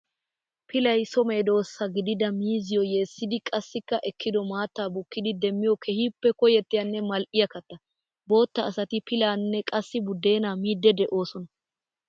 Pillay so medosa gidida miizziyo yessiddi qassikka ekkiddo maata bukkiddi demmiyo keehippe koyettiyanne mali'iyaa katta. Bootta asatti pillanne qassikka budeena miide de'osonna.